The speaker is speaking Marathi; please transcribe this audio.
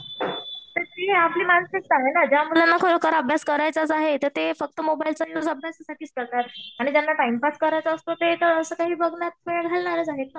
तर ती आपली मानसिकता आहे ना. ज्या मुलाला खरोखर अभ्यास करायचंच आहे तर ते फक्त मोबाईलचा युज अभ्यासासाठीच करतात. आणि ज्यांना टाइमपास करायचा असतो ते असं काही बघण्यात वेळ घालणारच आहेत ना.